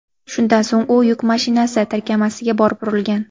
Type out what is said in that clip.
Shundan so‘ng u yuk mashinasi tirkamasiga borib urilgan.